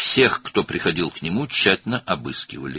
Ona gələn hər kəsi diqqətlə axtarırdılar.